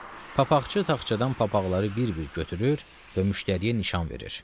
Papaqçı taxçadan papaqları bir-bir götürür və müştəriyə nişan verir.